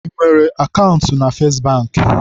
I nwere akaụntụ na Festị Bankị?